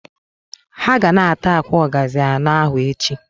Ha ga na- ata akwa ogazi ano ahu echi.